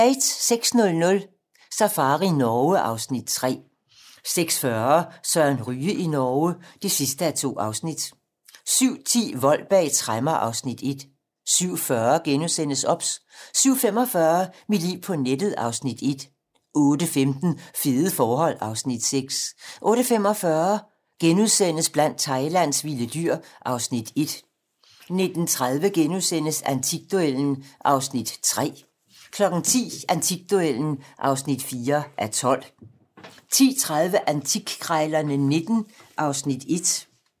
06:00: Safari Norge (Afs. 3) 06:40: Søren Ryge i Norge (2:2) 07:10: Vold bag tremmer (Afs. 1) 07:40: OBS * 07:45: Mit liv på nettet (Afs. 1) 08:15: Fede forhold (Afs. 6) 08:45: Blandt Thailands vilde dyr (Afs. 1)* 09:30: Antikduellen (3:12)* 10:00: Antikduellen (4:12)* 10:30: Antikkrejlerne XIX (1:25)